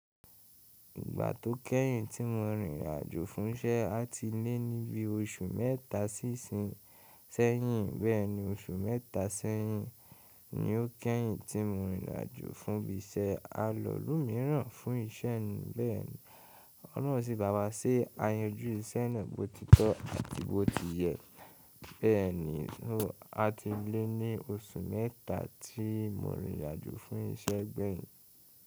Ìgbà tó kẹ́yìn tí mo rìn ìrìn àjò fún iṣẹ́ àti lé níbi oṣù mẹ́ta sí ìsinsẹ́yìn, bẹ́ẹ̀ni oṣù mẹ́ta sẹ́yìn ni ó kẹ́yìn tí mo rìn ìrìn àjò fún ibi iṣẹ́. A lọ̀lú mìíràn fún iṣẹ́ ni bẹ́ẹ̀ni, ọlọ́run sí bàwá ṣe a yanju iṣẹ́ náà bó ti tọ́ àti bó ti yẹ, bẹ́ẹ̀ni n o àti lé ní oṣù mẹ́ta tí mo rìn ìrìn àjò fún iṣẹ́ gbẹ̀yìn.